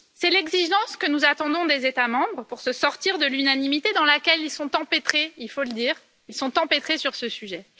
C'est l'exigence que nous attendons des États membres pour se sortir de l'unanimité dans laquelle ils sont empêtrés il faut le dire, ils sont empêtrés sur ce sujet.